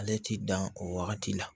Ale ti dan o wagati la